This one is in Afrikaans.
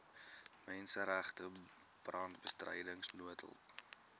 menseregte brandbestryding noodhulp